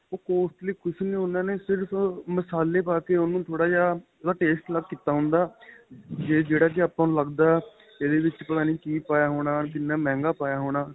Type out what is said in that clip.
ਉਹ costly ਕੁੱਛ ਨਹੀਂ ਉਹਨਾ ਨੇ ਸਿਰਫ਼ ਮਸ਼ਾਲੇ ਪਾਕੇ ਉਹਨੂੰ ਥੋੜਾ ਜਾਂ ਉਹਦਾ taste ਅਲੱਗ ਕੀਤਾ ਹੁੰਦਾ ਵੀ ਜਿਹੜਾ ਕਿ ਆਪਾਂ ਨੂੰ ਲੱਗਦਾ ਇਹਦੇ ਵਿੱਚ ਪਤਾ ਨਹੀਂ ਕੀ ਪਾਇਆ ਹੋਣਾ ਵੀ ਕਿੰਨਾ ਮੰਹਿਗਾ ਹੋਣਾ